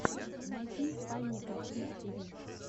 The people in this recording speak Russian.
найти фанни катунс тиви